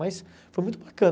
Mas foi muito bacana.